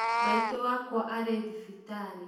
Maitũ wakwa arĩ thibitarĩ